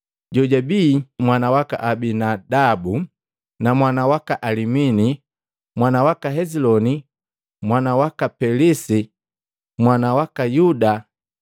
jojabi mwana waka Aminadabu, mwana waka Alimini, mwana waka Heziloni, mwana waka Pelesi, mwana waka Yuda,